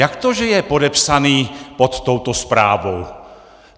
Jak to že je podepsaný pod touto zprávou?